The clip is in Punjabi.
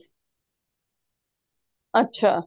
ਅੱਛਾ